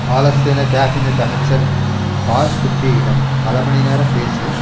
பாலஸ்தீன cabinet அமைச்சர் பார்குற்றியிடம் பல மணி நேரம் பேசி